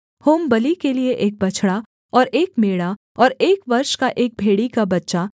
होमबलि के लिये एक बछड़ा और एक मेढ़ा और एक वर्ष का एक भेड़ी का बच्चा